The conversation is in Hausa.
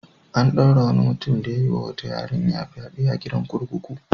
An ɗaure wani mutum da ya yi wa wata yarinya fyaɗe a gidan kurkuku.